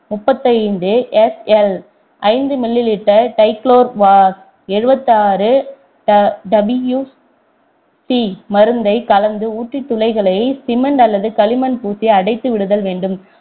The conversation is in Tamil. முப்பத்தைந்து SL ஐந்து mililiter டைக்குளோர் வாஸ் எழுபத்தாறு WC மருந்தை கலந்து ஊற்றி துளைகளை cement அல்லது களிமண் பூசி அடைத்து விடுதல் வேண்டும்